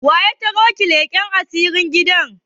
Waya ta roki leƙan asiri gidan?